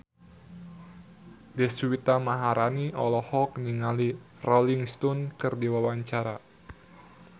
Deswita Maharani olohok ningali Rolling Stone keur diwawancara